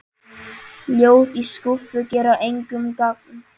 Ljóð í skúffu gera engum gagn.